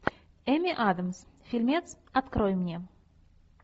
эми адамс фильмец открой мне